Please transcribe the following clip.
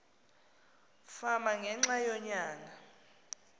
fama ngenxa yonyana